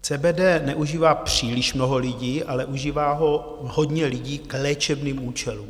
CBD neužívá příliš mnoho lidí, ale užívá ho hodně lidí k léčebným účelům.